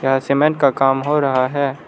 यहां सीमेंट का काम हो रहा है।